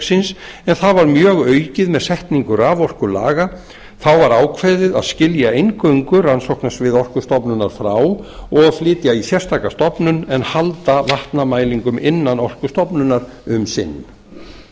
en það var mjög var aukið með setningu raforkulaga þá var ákveðið var að skilja eingöngu rannsóknasvið orkustofnunar frá og flytja í sérstaka stofnun en halda vatnamælingum innan orkustofnunar um sinn